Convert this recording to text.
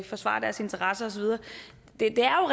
forsvare deres interesser osv det er